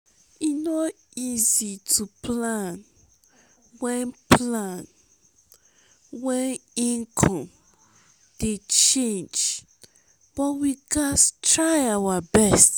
e no easy to plan wen plan wen income dey change but we gats try our best.